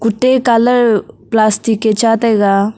colour plastic ei cha taiga.